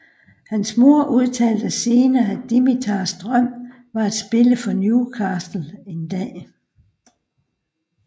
Hans mor udtalte senere at Dimitars drøm var at spille for Newcastle en dag